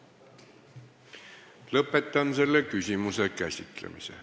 Lõpetan selle küsimuse käsitlemise.